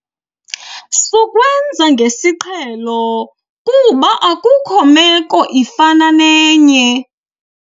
Sukwenza ngesiqhelo kuba akukho meko ifana nenye.